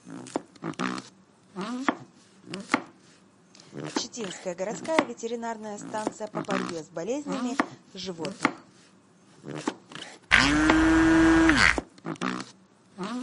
читинская городская ветеринарная станция по борьбе с болезнями животных